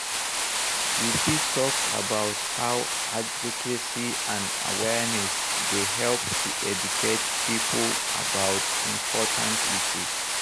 You fit talk about how advocacy and awareness dey help to educate people about important issues.